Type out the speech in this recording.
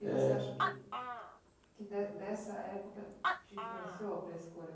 Eh... Você acha que que de dessa época te influenciou para a escolha?